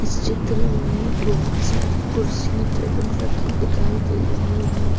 इस चित्र में बहुत सारी कुर्सीयां टेबल रखी दिखाई दे रही है।